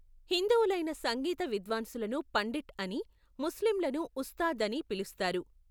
హిందువులైన సంగీత విద్వాంసులను పండిట్ అనీ, ముస్లింలను ఉస్తాద్ అనీ పిలుస్తారు.